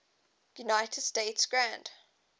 united states grand